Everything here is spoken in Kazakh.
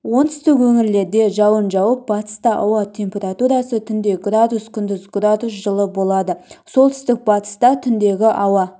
оңтүстік өңірлерде жауын жауып батыста ауа температурасы түнде градус күндіз градус жылы болады солтүстік-батыста түндегі ауа